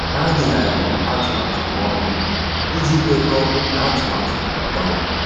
Há dèghàrị̀rị̀ atụmatụ ha ọnụ iji kwekọ́ọ́ n’átụ́mànyá nà-ágbànwé.